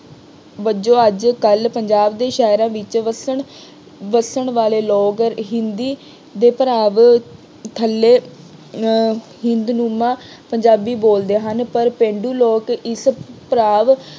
ਵਜੋਂ ਅੱਜ ਕੱਲ੍ਹ ਪੰਜਾਬ ਦੇ ਸ਼ਹਿਰਾਂ ਵਿੱਚ ਵਸਣ ਵਾਲੇ ਲੋਕ ਹਿੰਦੀ ਦੇ ਭਰਾਵ ਥੱਲੇ ਅਹ ਹਿੰਦਨੁਮਾ ਪੰਜਾਬੀ ਬੋਲਦੇ ਹਨ। ਪਰ ਪੇਂਡੂ ਲੋਕ ਇੱਕ ਭਰਾਵ